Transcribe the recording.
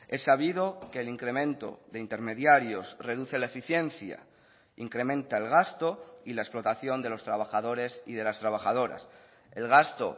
es sabido que el incremento de intermediarios reduce la eficiencia incrementa el gasto y la explotación de los trabajadores y de las trabajadoras el gasto